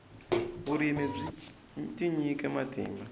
vurimi byi tinyikile matimba